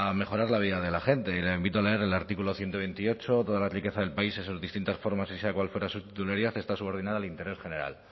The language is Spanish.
mejorar la vida de la gente le invito a leer el artículo ciento veintiocho toda la riqueza del paísen sus distintas formas y sea cual fuere su titularidad está subordinada al interés general